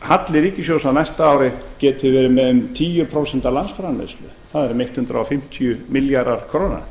halli ríkissjóðs á næsta ári geti verið meira en tíu prósent af landsframleiðslu það eru um hundrað fimmtíu milljarðar króna